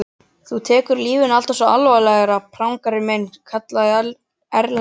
Þú tekur lífinu alltaf svo alvarlega, prangari minn, kallaði Erlendur.